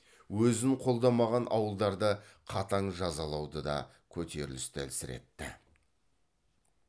өзін қолдамаған ауылдарда қатаң жазалауды да көтерілісті әлсіретті